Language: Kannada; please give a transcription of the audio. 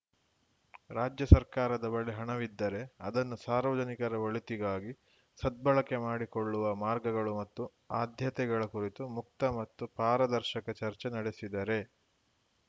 ರಾಜ್ಯ ಸರ್ಕಾರದ ಬಳಿ ಹಣವಿದ್ದರೆ ಅದನ್ನು ಸಾರ್ವಜನಿಕರ ಒಳಿತಿಗಾಗಿ ಸದ್ಬಳಕೆ ಮಾಡಿಕೊಳ್ಳುವ ಮಾರ್ಗಗಳು ಮತ್ತು ಆದ್ಯತೆಗಳ ಕುರಿತು ಮುಕ್ತ ಮತ್ತು ಪಾರದರ್ಶಕ ಚರ್ಚೆ ನಡೆಸಿದರೆ